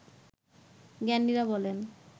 জ্ঞানীরা বলেন